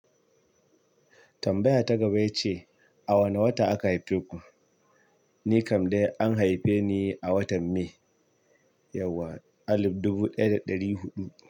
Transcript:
Tambaya ta gaba ya ce, a wane wata aka haife ku? Ni kam dai an haife ni a watan May, yauwa alif dubu ɗaya da ɗari huɗu.